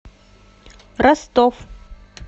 ростов